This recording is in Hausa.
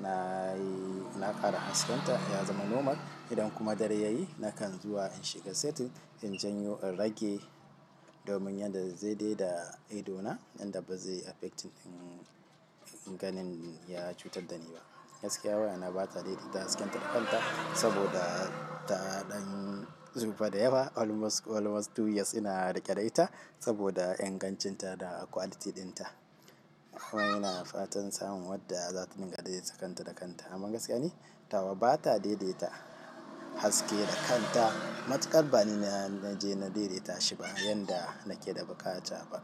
na yi na ƙara haskenta ya zama normal. Idan kuma dare yayi nakan zuwa in shiga setting in janyo in rage, domin yadda zai daidai da ido na yanda ba zai affecting ɗin ganin ya cutar da ni ba. Gaskiya waya na bata daidaita hasken ta da kanta saboda, ta ɗan zuɓa da yawa almost almost two years ina riƙe da ita saboda ingancinta da quality ɗinta. Kuma ina fatan samun wadda za ta dinga daidaita kanta da kanta. Amma gaskiya ni tawa bata daidaita haske da kanta. Matuƙar bani naje na daidaita shi ba yanda nake da buƙata ba.